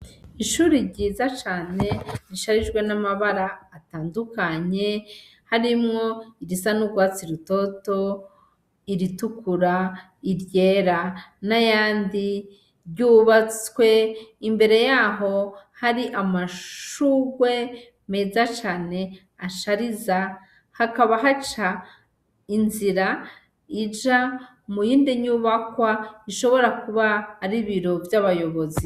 Ishure ryiza cane risharijwe n'amabara atandukanye ,harimwo irisa n'urwatsi rutoto ,iritikura ,iryera, n'ayandi yubatswe imbere yaho hari amashurwe meza cane, ashariza hakaba haca inzira ija muyindi nyumbakwa ishobora kuba ari ibiro vy'abayobozi.